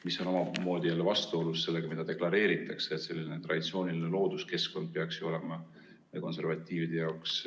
See on omamoodi jälle vastuolus sellega, mida deklareeritakse, et selline traditsiooniline looduskeskkond peaks ju olema konservatiivide jaoks ...